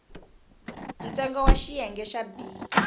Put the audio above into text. ntsengo wa xiyenge xa b